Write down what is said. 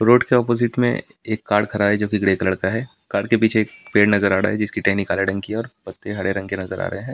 road के opposite में एक कार खड़ा है जो की ग्रे कलर का है कार के पीछे पेड़ नजर आ रहा है जिसकी टहनी काले ढंग की है और पत्ते हरे रंग के नजर आ रहे है पेड़ के--